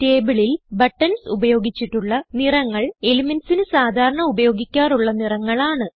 Tableൽ buttons ഉപയോഗിച്ചിട്ടുള്ള നിറങ്ങൾ elementsന് സാധാരണ ഉപയോഗിക്കാറുള്ള നിറങ്ങൾ ആണ്